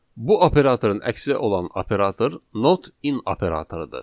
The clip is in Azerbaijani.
Bu operatorun əksi olan operator not in operatorudur.